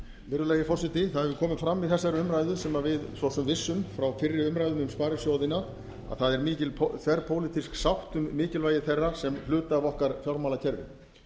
virðulegi forseti það hefur komið fram í þessari umræðu sem við svo sem vissum frá fyrri umræðu um sparisjóðina að það er mikil þverpólitísk sátt um mikilvægi þeirra sem hluti af okkar fjármálakerfi